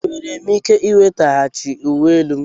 Enwere m ike ị nwetaghachi uwe elu m?